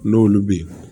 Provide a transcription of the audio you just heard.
N'olu bɛ yen